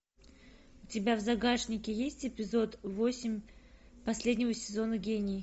у тебя в загашнике есть эпизод восемь последнего сезона гений